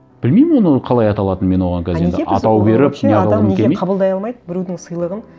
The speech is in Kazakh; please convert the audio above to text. білмеймін оны қалай аталатынын мен оны оған қазір атау беріп адам неге қабылдай алмайды біреудің сыйлығын